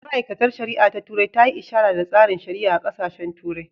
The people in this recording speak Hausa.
Ma’aikatar shari’a ta turai ta yi ishara da tsarin shari’a a ƙasashen turai